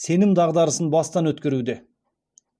сенім дағдарысын бастан өткеруде